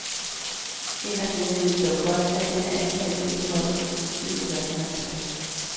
Inderst inde ved de dog godt at denne antagelse ikke holder, hvis politiet gør sin entre.